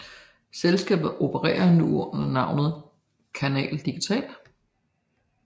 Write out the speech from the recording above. Selskabet opererer nu under navnet Canal Digital